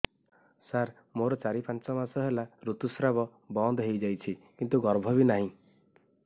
ସାର ମୋର ଚାରି ପାଞ୍ଚ ମାସ ହେଲା ଋତୁସ୍ରାବ ବନ୍ଦ ହେଇଯାଇଛି କିନ୍ତୁ ଗର୍ଭ ବି ନାହିଁ